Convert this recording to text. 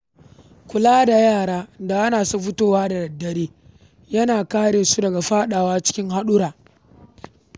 Kulawa da yara da hana su fita da dare yana kare su daga faɗawa cikin haɗurra.